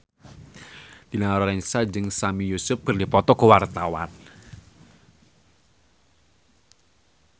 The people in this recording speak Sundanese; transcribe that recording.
Dina Lorenza jeung Sami Yusuf keur dipoto ku wartawan